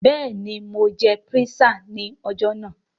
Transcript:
Bẹẹni, Mo jẹ písà ní ọjọ́ ajé.